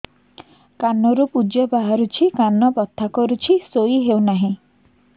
କାନ ରୁ ପୂଜ ବାହାରୁଛି କାନ ବଥା କରୁଛି ଶୋଇ ହେଉନାହିଁ